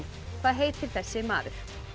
hvað heitir þessi maður